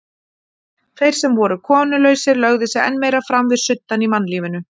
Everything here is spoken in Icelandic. Þeir sem voru konulausir lögðu sig enn meira fram við suddann í mannlífinu.